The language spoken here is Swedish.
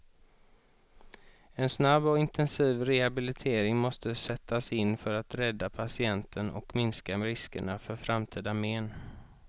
En snabb och intensiv rehabilitering måste sättas in för att rädda patienten och minska riskerna för framtida men.